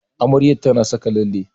Amaryar ta na saka lalle